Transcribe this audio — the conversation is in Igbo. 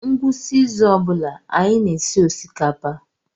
Ngwụsị izu ọ bụla anyị na-esi osikapa.